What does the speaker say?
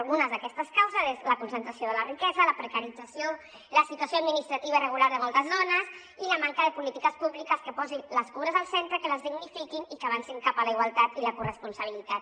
algunes d’aquestes causes són la concentració de la riquesa la precarització la situació administrativa irregular de moltes dones i la manca de polítiques públiques que posin les cures al centre que les dignifiquin i que avancin cap a la igualtat i la corresponsabilitat